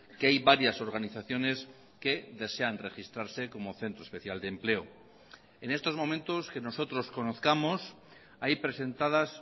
que hay varias organizaciones que desean registrarse como centro especial de empleo en estos momentos que nosotros conozcamos hay presentadas